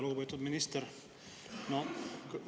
Lugupeetud minister!